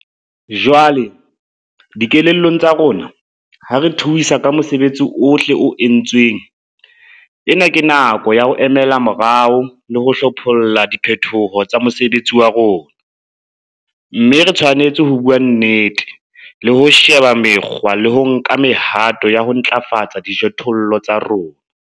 Jwale, dikelellong tsa rona, ha re thuisa ka mosebetsi ohle o entsweng, ena ke nako ya ho emela morao le ho hlopholla diphetho tsa mosebetsi wa rona, mme re tshwanetse ho bua nnete, le ho sheba mekgwa le ho nka mehato ya ho ntlafatsa dijothollo tsa rona.